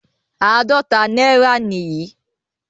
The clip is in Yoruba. Àádọ́ta náírà nìyí.